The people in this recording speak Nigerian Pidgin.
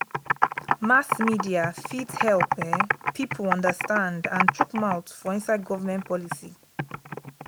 mass media fit help um pipo understand and chook mouth for inside government policies